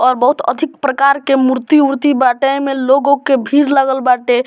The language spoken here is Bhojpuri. और बहुत अधिक प्रकार के मूर्ति-उर्ति बाटे एमें लोगों के भीड़ लगल बाटे।